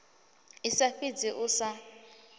i sa fhidzi u sa